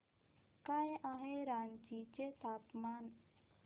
काय आहे रांची चे तापमान